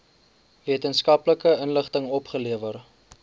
wetenskaplike inligting opgelewer